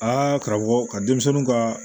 Aa karamɔgɔ ka denmisɛnninw ka